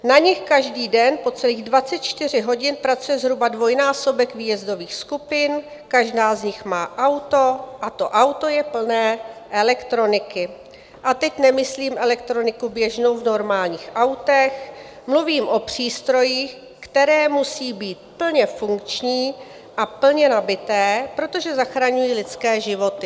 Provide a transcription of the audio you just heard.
Na nich každý den po celých 24 hodin pracuje zhruba dvojnásobek výjezdových skupin, každá z nich má auto a to auto je plné elektroniky, a teď nemyslím elektroniku běžnou v normálních autech, mluvím o přístrojích, které musí být plně funkční a plně nabité, protože zachraňují lidské životy.